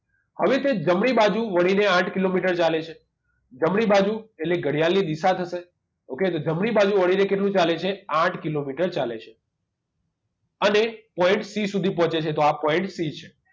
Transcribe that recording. હવે તે જમણી બાજુ વળીને આઠ કિલોમીટર ચાલે છે જમણી બાજુ એટલે ઘડિયાળની દિશા થશે okay તો જમણી બાજુ વળીને કેટલું ચાલે છે આઠ કિલોમીટર ચાલે છે અને point c સુધી પહોંચે છે તો આ point c છે